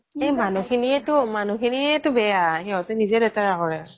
এই মানুহখিনিয়েটো, মানুহখিনিয়েটো বেয়া সহঁতে নিজে লেতেৰা কৰে